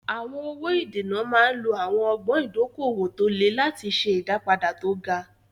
Àwọn owó ìdènà máa ń lo àwọn ọgbọ́n ìdókòwò tó le láti ṣe ìdápadà tó ga.